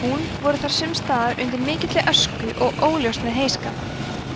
tún voru þar sumstaðar undir mikilli ösku og óljóst með heyskap